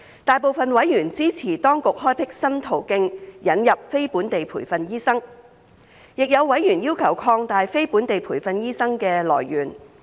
大部分委員支持當局開闢新途徑引入非本地培訓醫生。亦有委員要求擴大非本地培訓醫生的來源。